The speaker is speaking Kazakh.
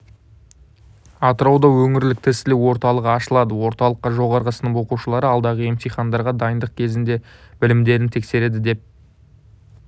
атырауда өңірлік тестілеу орталығы ашылды орталықта жоғары сынып оқушылары алдағы емтихандарға дайындық кезінде білімдерін тексереді деп